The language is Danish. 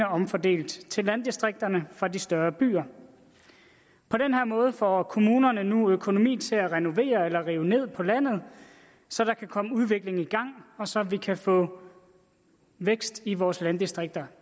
omfordelt til landdistrikterne fra de større byer på den her måde får kommunerne nu økonomi til at renovere eller rive ned på landet så der kan komme udvikling i gang og så vi igen kan få vækst i vores landdistrikter